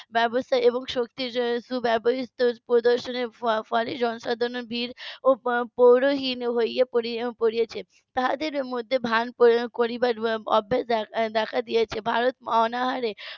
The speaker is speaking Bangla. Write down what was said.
ব্যবস্থা এবং শক্তির . প্রদৰ্শনের ফলে জনসাধারণের বীর ও পৌরোহিন হয়ে পড়েছে তাদের মধ্যে ভান করবার অভ্যাস দেখা দিয়েছে ভারত অনাহারে